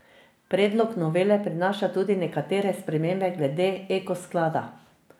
Predlog novele prinaša tudi nekatere spremembe glede Eko sklada.